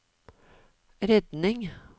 redning